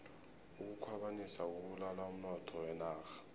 ukukhwabanisa kubulala umnotho wenarha